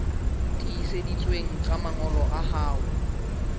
tiiseditsweng tsa mangolo a hao